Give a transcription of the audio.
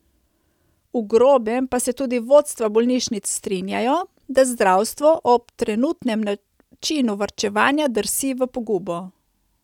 V grobem pa se tudi vodstva bolnišnic strinjajo, da zdravstvo ob trenutnem načinu varčevanja drsi v pogubo.